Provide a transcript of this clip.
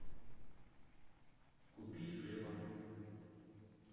купить хлеба